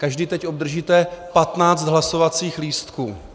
Každý teď obdržíte 15 hlasovacích lístků.